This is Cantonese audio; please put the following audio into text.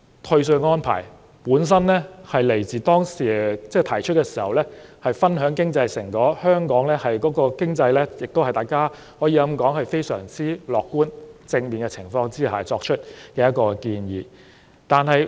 退稅安排的原意是讓市民分享經濟成果，這是一項基於大家對香港經濟感到非常樂觀和正面而作出的建議。